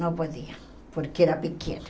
Não podia, porque era pequena.